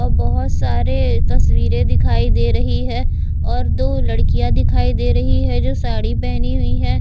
और बहुत सारे तस्वीरें दिखाई दे रही हैं और दो लड़कियां दिखाई दे रही है जो साड़ी पहनी हुई हैं।